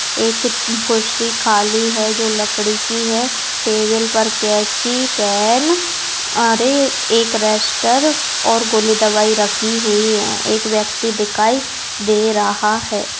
एक कुर्सी खाली है जो लकड़ी की है टेबल पर कैंची पैन और एक रजिस्टर और गोली दवाई रखी हुई है एक व्यक्ति दिखाई दे रहा है।